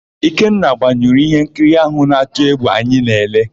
Ikenna gbanyụrụ íhénkiri áhụ̀ na-atụ égwù anyị na-ele.